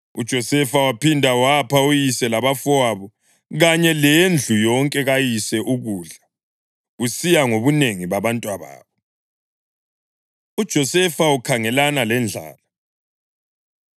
UJosefa waphinda wapha uyise labafowabo kanye lendlu yonke kayise ukudla, kusiya ngobunengi babantwababo. UJosefa Ukhangelana Lendlala